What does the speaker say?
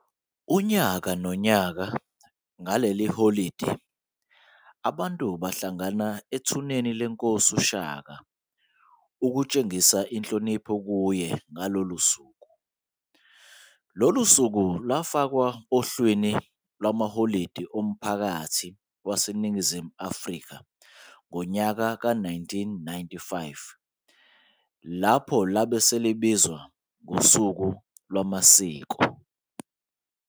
Unyaka nonyaka ngaleli holide abantu bahlangana eThuneni leNkosi uShaka ukutshengisa inhlonipho kuye ngalolu suku. Lolu suku lafakwa ohlwini lwamaholide omphakathi wase Ningizimu Africa ngonyaka ka1995 lapho labe selibiza Ngosuku Lwamasiko.